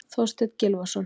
Þorsteinn Gylfason.